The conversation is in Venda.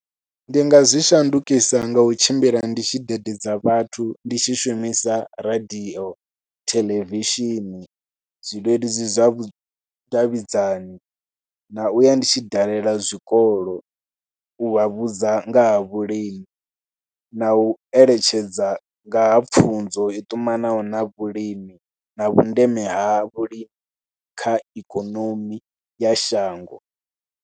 Ndi nga zwi shandukisa nga u tshimbila ndi tshi dededza vhathu, ndi tshi shumisa radio, theḽevishini zwileludzi zwa vhudavhidzani, na u ya ndi tshi dalela zwikolo u vha vhudza nga ha vhulimi na u eletshedza nga pfhunzo i ṱumanaho na vhulimi na vhundeme ha vhulimi kha ikonomi ya shango.